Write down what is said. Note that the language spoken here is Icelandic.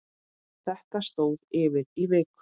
Þetta stóð yfir í viku.